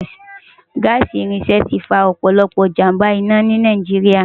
Gaasi irinṣẹ ti fá òpòlòpò ijámbá-inà ni Náijiriá